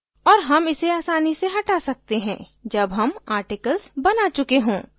और हम इसे आसानी से हटा सकते हैं जब हम articles बना चुके हों